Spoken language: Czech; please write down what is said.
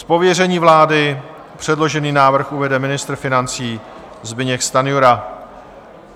Z pověření vlády předložený návrh uvede ministr financí Zbyněk Stanjura.